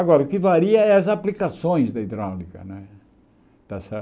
Agora, o que varia é as aplicações da hidráulica, né está certo?